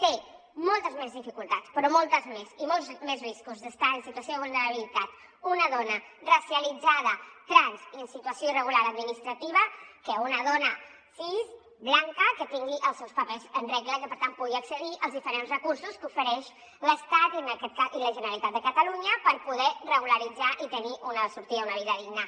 té moltes més dificultats però moltes més i molts més riscos d’estar en situa·ció de vulnerabilitat una dona racialitzada trans i en situació irregular adminis·trativa que una dona cis blanca que tingui els seus papers en regla i que per tant pugui accedir als diferents recursos que ofereix l’estat i la generalitat de catalu·nya per poder regularitzar i tenir una sortida una vida digna